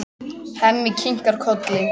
Hemmi kinkar kolli.